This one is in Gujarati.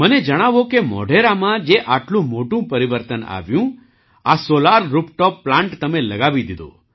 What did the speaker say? મને જણાવો કે મોઢેરામાં જે આટલું મોટું પરિવર્તન આવ્યું આ સૉલાર રૂફટૉપ પ્લાન્ટ તમે લગાવી દીધો